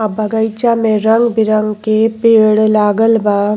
आ बगईचा में रंग बिरंग के पेड़ लागल बा।